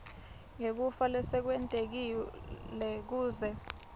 ngekufa lesekwentekile kuze